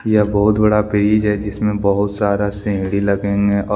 यह बहुत बड़ा ब्रिज है जिसमें बहुत सारा सीढ़ी लगे है।